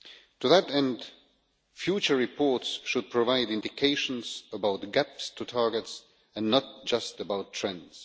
To that end, future reports should provide indications about the gaps to targets and not just about trends.